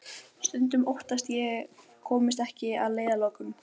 Stundum óttast ég að ég komist ekki að leiðarlokum.